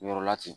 Yɔrɔ la ten